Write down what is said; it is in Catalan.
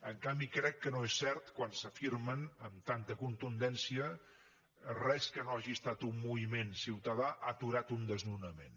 en canvi crec que no és cert quan s’afirma amb tanta contundència res que no hagi estat un moviment ciutadà ha aturat un desnonament